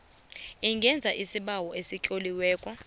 ungenza isibawo esitloliweko